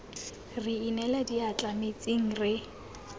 re inela diatla metsing re